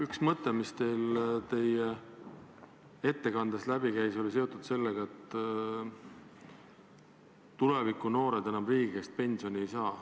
Üks mõte, mis teie ettekandest läbi käis, oli see, et tuleviku noored enam riigi käest pensioni ei saa.